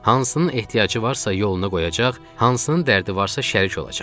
Hansının ehtiyacı varsa yoluna qoyacaq, hansının dərdi varsa şərik olacam.